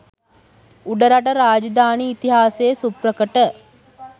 උඩරට රාජධානි ඉතිහාසයේ සුප්‍රකට